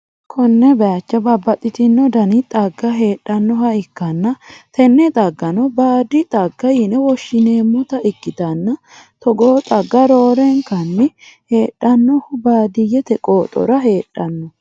konne bayicho babbaxxitino dani xagga heedhannoha ikkanna, tenne xaggano baadi xagga yine woshhsi'neemmota ikkitanna, togoo xagga roorenkanni heedhannohu baadiyyete qooxora heedhanno.